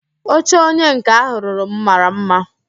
Oche onye nká ahụ rụrụ m mara mma